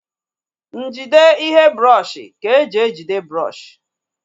Njide ihe brọọshi ka e ji ejide brọọshi